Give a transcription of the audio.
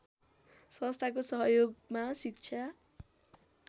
संस्थाको सहयोगमा शिक्षा